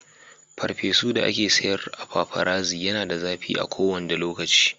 farfesu da ake sayar a paparazzi Yana da zafi a kowanda lokaci.